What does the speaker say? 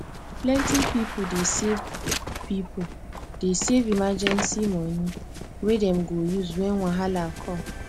plenty people dey save people dey save emergency money wey dem go use when wahala come